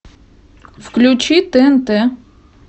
включи тнт